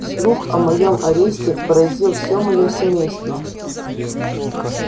слух о моём аресте поразил всё моё семейство